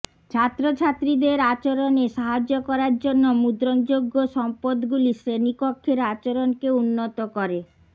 ছাত্রছাত্রীদের আচরণে সাহায্য করার জন্য মুদ্রণযোগ্য সম্পদগুলি শ্রেণীকক্ষের আচরণকে উন্নত করে